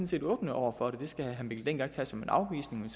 set åbne over for det det skal herre mikkel dencker ikke tage som en afvisning